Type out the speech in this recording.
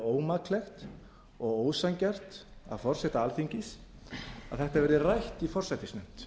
ómaklegt og ósanngjarnt af forseta alþingis að þetta verði rætt í forsætisnefnd